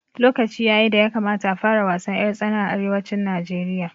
Lokaci yayi da ya kamata a fara wasan ƴar tsana a arewacin Najeriya